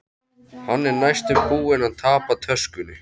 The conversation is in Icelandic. Hann er næstum búinn að tapa töskunni.